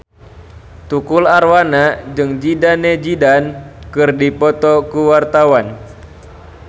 Tukul Arwana jeung Zidane Zidane keur dipoto ku wartawan